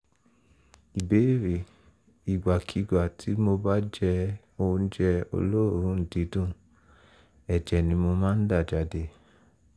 ìbéèrè: ìgbàkigbà tí mo bá jẹ oúnjẹ olóòórùn dídùn ẹ̀jẹ̀ ni mo máa ń dà jáde